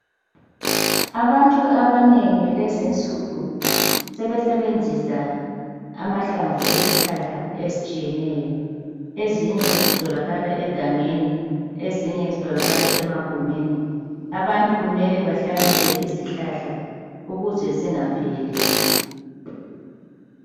Abantu abanengi lezinsuku sebesebenzisa amahlamvu ezihlahla ezitshiyeneyo. Ezinye zitholakala egangeni ezinye zitholakala emagumeni. Abantu kumele bahlanyele izihlahla ukuze zingapheli.